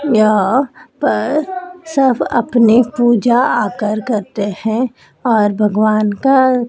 यहां पर सब अपने पूजा आकर करते हैं और भगवान का--